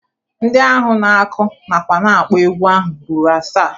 Ndị ahụ na-akụ nakwa na-akpọ egwu ahụ ruru asaa.